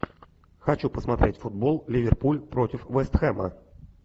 хочу посмотреть футбол ливерпуль против вест хэма